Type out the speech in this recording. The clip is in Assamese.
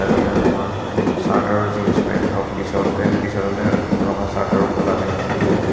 এজনে ৰঙা চাৰ্ট আৰু জিন্স পেণ্ট আৰু পিছতে পিছৰজনে ৰঙা চাৰ্ট আৰু ক'লা পেণ্ট পিন্ধি আছে।